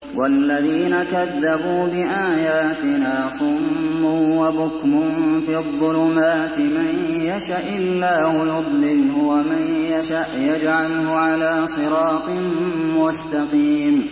وَالَّذِينَ كَذَّبُوا بِآيَاتِنَا صُمٌّ وَبُكْمٌ فِي الظُّلُمَاتِ ۗ مَن يَشَإِ اللَّهُ يُضْلِلْهُ وَمَن يَشَأْ يَجْعَلْهُ عَلَىٰ صِرَاطٍ مُّسْتَقِيمٍ